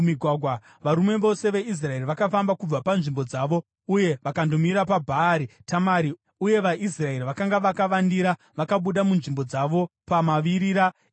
Varume vose veIsraeri vakafamba kubva panzvimbo dzavo uye vakandomira paBhaari Tamari, uye vaIsraeri vakanga vakavandira vakabuda munzvimbo dzavo pamavirira eGibhea.